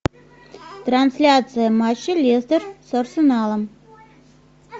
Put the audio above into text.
трансляция матча лестер с арсеналом